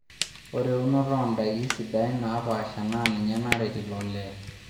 Ore eunot oo ndaiki sidain naapaasha na ninye naret ilo lee